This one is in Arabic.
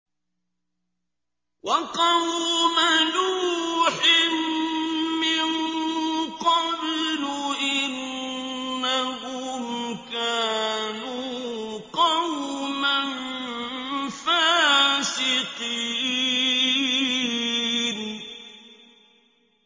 وَقَوْمَ نُوحٍ مِّن قَبْلُ ۖ إِنَّهُمْ كَانُوا قَوْمًا فَاسِقِينَ